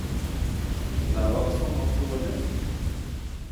Lakok somok tugul i?